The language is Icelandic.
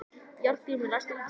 Járngrímur, læstu útidyrunum.